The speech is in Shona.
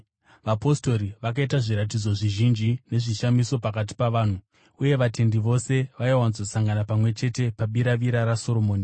Vapostori vakaita zviratidzo zvizhinji nezvishamiso pakati pavanhu. Uye vatendi vose vaiwanzosangana pamwe chete muBiravira raSoromoni.